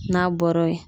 N'a bɔra yen